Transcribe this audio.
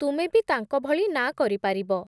ତୁମେ ବି ତାଙ୍କଭଳି ନାଁ କରିପାରିବ ।